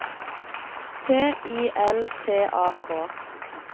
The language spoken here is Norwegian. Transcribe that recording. T I L T A K